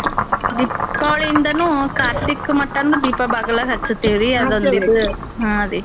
ದೀಪಾವಳಿಯಿಂದನೂ ಕಾರ್ತಿಕ್ಮಟಾನೂ ದೀಪ ಬಾಗಲ್ದಾಗ್ ಹಚ್ತೇವ್ರೀ ಹಾರೀ.